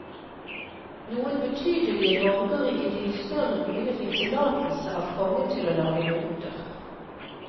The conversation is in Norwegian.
Noen betydelige borgere i de større byene fikk tillatelse av kongen til å lage mynter.